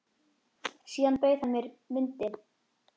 Síðan bauð hann mér vindil.